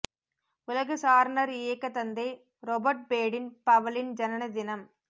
உலக சாரணர் இயக்கத் தந்தை ரொபட் பேடின் பவலின் ஜனன தினம்